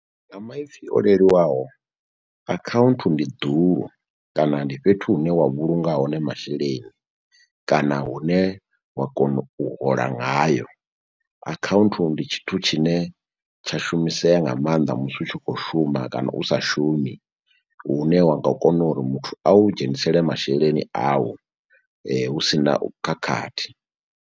Nga maipfhi o leluwaho akhaunthu ndi ḓulu kana ndi fhethu hune wa vhulunga hone masheleni kana hune wa kona u hola ngayo, akhaunthu tshithu tshine tsha shumisea nga maanḓa musi u tshi kho shuma kana u sa shumi uhne wa nga kona uri muthu a u dzhenisele masheleni awu hu si na khakhathi.